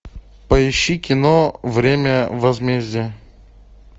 поищи кино время возмездия